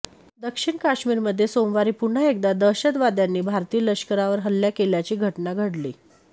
दक्षिण काश्मीरमध्ये सोमवारी पुन्हा एकदा दहशतवाद्यांनी भारतीय लष्करावर हल्ला केल्याची घटना घडली